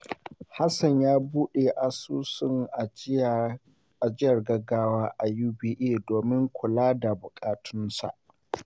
Hassan ya bude asusun ajiyar gaggawa a UBA domin kula da buƙatunsa.